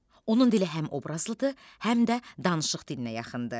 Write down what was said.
Onun dili həm obrazlıdır, həm də danışıq dilinə yaxındır.